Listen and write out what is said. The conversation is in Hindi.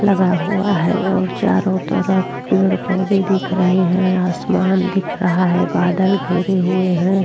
लगा हुआ है और चारों तरफ पेड़ पौधे दिख रहे हैं आसमान दिख रहा है बादल घिरे हुए हैं।